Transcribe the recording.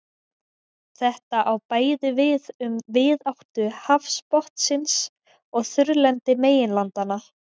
Þetta á bæði við um víðáttu hafsbotnsins og þurrlendi meginlandanna.